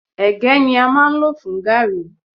Ègé ní a máa ń lọ̀ fún gààrí.